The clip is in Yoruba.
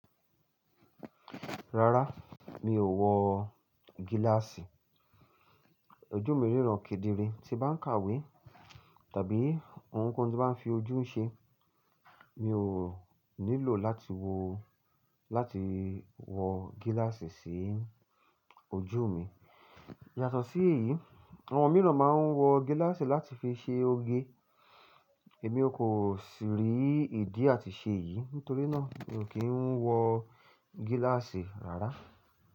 Rárá, mi ò wọ gíláàsì. Ojú mi ríran kedere, tí bá ń kàwé tàbí ohunkóhun tí bá ń fi ojú ṣe, mi ò nílò láti wọ, láti wọ gíláàsì sí ojú mi. Yàtọ̀ sí èyí, àwọn mìíràn máa ń wọ gíláàsì láti fi ṣe oge. Èmi ò kò sì rí ìdí àti ṣe èyí, nítorí náà mi ò kí ń wọ gíláàsì rárá.